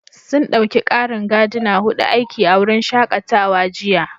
Sun ɗauki ƙarin Gardner huɗu aiki a wurin shakatawa jiya